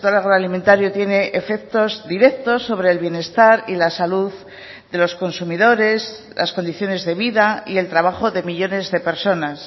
agroalimentario tiene efectos directos sobre el bienestar y la salud de los consumidores las condiciones de vida y el trabajo de millónes de personas